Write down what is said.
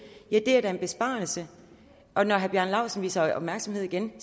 da en besparelse og når herre bjarne laustsen viser opmærksomhed igen